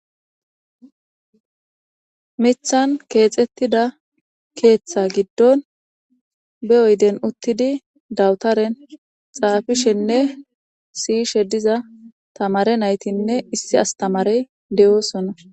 mithan keexxettida keeththa giddon be oyden uttidi dawutaren xaafishenne siyishe diza tamare naytinne issi astamarey de7oosona